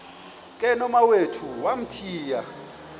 ke nomawethu wamthiya